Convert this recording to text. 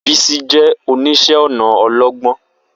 Bisi jẹ́ oníṣẹ́-ọnà ọlọ́gbọ́n,